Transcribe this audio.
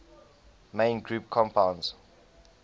main group compounds